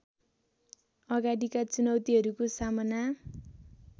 अगाडिका चुनौतीहरूको सामना